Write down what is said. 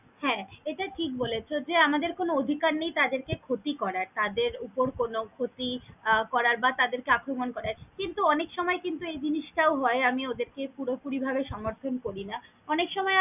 হ্যাঁ এটা ঠিক বলেছ যে আমাদের কোনও অধিকার নেই তাদের কে ক্ষতি করার তাদের উপর কোনও ক্ষতি আহ করার বা তাদের কে আক্রমন করার কিন্তু অনেক সময় কিন্তু এই জিনিস তাও হয় আমি ওদের কে পুরো পুরি ভাবে সমর্থন করি না অনেক সময়।